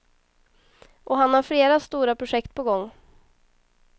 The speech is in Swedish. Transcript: Och han har flera stora projekt på gång.